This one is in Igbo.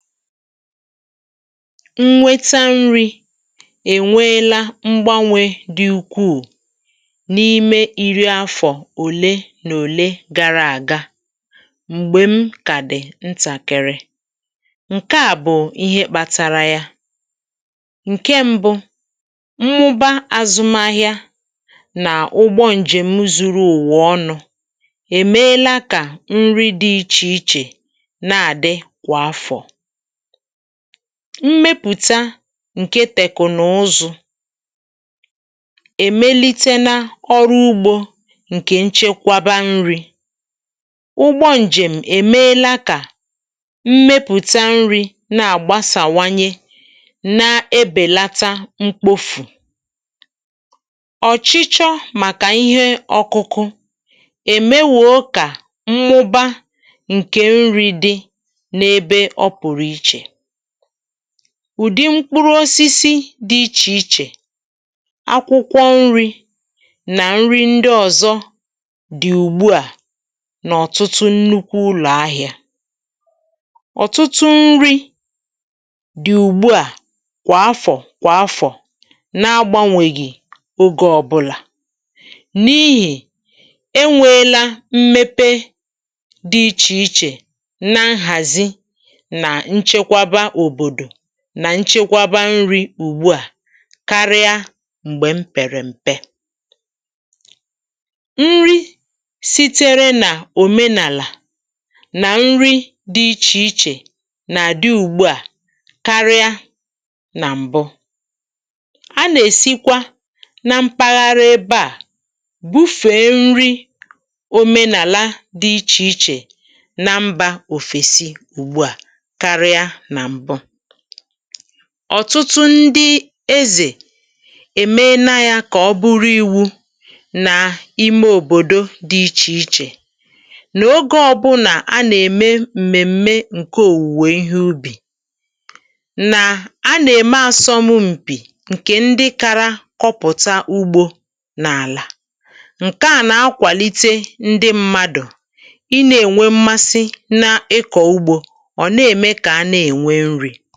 Nnweta nri̇ ènweela mgbanwè dị̀ ukwuù n’ime iri afọ̀ òle nà òle gara àga, m̀gbè m kà dị̀ ntàkị̀rị̀. Nkè a bụ̀ ihe kpȧtȧrȧ ya. Nke mbụ̇, mmụba azụmahịa nà ụgbọ ǹjèm zuru ùwa ọnụ̇ èmeela kà nri dị̇ ichè ichè na-àdị kwà afọ̀. Mmepụ̀ta ǹkè tèkù n’ụzụ̇ è melite na ọrụ ugbȯ ǹkè nchekwaba nri̇. Ụgbọ njèm̀ èmelȧ kà mmepụ̀ta nri̇ na-àgbasàwanye nà ebèlata mkpofù. Ọchịchọ màkà ihe ọkụkụ è mewuo kà mmụbȧ ǹkè nri dị n'ebe ọ pụrụ iche. Ụdị mkpụrụ osisi dị ichè ichè, akwụkwọ nri̇, nà nri ndị ọ̀zọ dị̀ ùgbu à n’ọ̀tụtụ nnukwu ụlọ̀ ahịa. Ọtụtụ nri̇ dị̀ ùgbu à kwà afọ̀ kwà afọ̀ na-agbȧnwègì ogė ọ̀bụlà, n’ihì e nweela mmepe dị ichè ichè na nhazi nà nchekwaba obodo, nà nchekwaba nri̇ ùgbu à, karịa m̀gbè m pèrè m̀pe. Nri siteere nà òmenàlà nà nri dị̇ ichè ichè nà-àdị ùgbu à karịa nà m̀bụ. A nà-èsikwa na mpaghara ebe à bufèe nri òmenàla dị ichè ichè na mbȧ òfèsi ùgbu à karịa na mbụ. Ọtụtụ ndị ezè èmena yȧ kà ọ bụrụ iwu̇ nà ime òbòdo dị ichè ichè, nà ogė ọbụnà a nà-ème m̀mèm̀me ǹke òwùwè ihe ubì, nà a nà-ème asọm mpì ǹkè ndị kara kọpụ̀ta ugbȯ n’àlà. Nke à nà-akwàlite ndị mmadụ̀ i nà-ènwe mmasị na-ịkọ̀ ugbȯ, ọ na eme ka ana enwe nri.